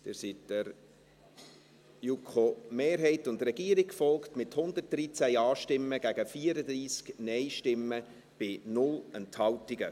Sie sind der JuKo-Mehrheit und Regierung gefolgt, mit 113 Ja- gegen 34 Nein-Stimmen bei 0 Enthaltungen.